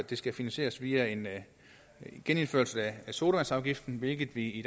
det skal finansieres via en genindførelse af sodavandsafgiften hvilket vi i